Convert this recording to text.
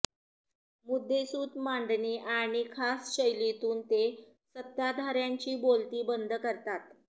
मुद्देसूद मांडणी आणि खास शैलीतून ते सत्ताधार्यांची बोलती बंद करतात